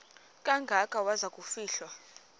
kangaka waza kufihlwa